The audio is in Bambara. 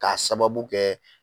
K'a sababu kɛ